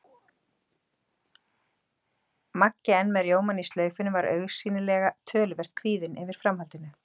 Maggi, enn með rjómann í slaufunni, var augsýnilega töluvert kvíðinn yfir framhaldinu.